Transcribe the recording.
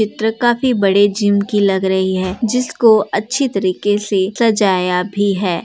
चित्र काफी बड़ी जमी की लग रही है। जिसको अच्छी तरीके से सजाया भी है।